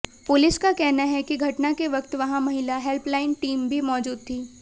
police का कहना है कि घटना के वक्त वहां महिला हेल्पलाइन टीम भी मौजूद थी